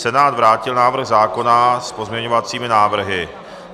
Senát vrátil návrh zákona s pozměňovacími návrhy.